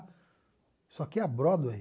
Isso aqui é a Broadway.